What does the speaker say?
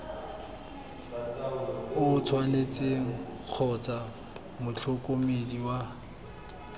o tshwanetseng kgotsa motlhokomedi wa